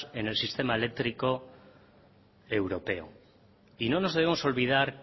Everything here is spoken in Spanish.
en el sistema eléctrico europeo y no nos debemos olvidar